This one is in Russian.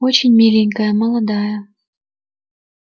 очень миленькая молодая